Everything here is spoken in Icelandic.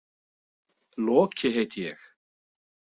Loki heiti ég.